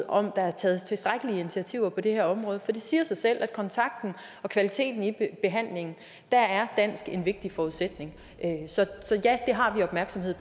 om der er taget tilstrækkelige initiativer på det her område for det siger sig selv at kontakten og kvaliteten i behandlingen er er dansk en vigtig forudsætning så ja det har vi opmærksomhed